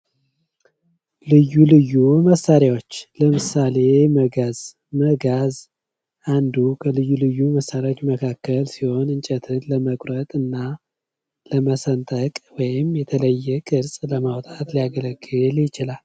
ልዩ ልዩ መሣሪያዎች ለምሳሌ መጋዝ መጋዝ አንዱ ከልዩ ልዩ መሣሪያዎች መካከል ሲሆን እንጨትን ለመቁረጥ እና ለመሰንጠቅ ወይም የተለየ ቅርጽ ለማውጣት ሊያገለግል ይችላል።